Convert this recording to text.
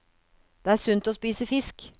Det er sunt å spise fisk.